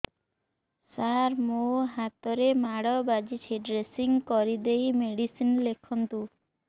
ସାର ମୋ ହାତରେ ମାଡ଼ ବାଜିଛି ଡ୍ରେସିଂ କରିଦେଇ ମେଡିସିନ ଲେଖନ୍ତୁ